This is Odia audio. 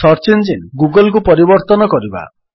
ସର୍ଚ୍ଚ ଇଞ୍ଜିନ୍ ଗୁଗଲ୍କୁ ପରିବର୍ତ୍ତନ କରିବା